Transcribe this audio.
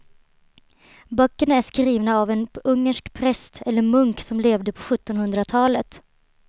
Böckerna är skrivna av en ungersk präst eller munk som levde på sjuttonhundratalet.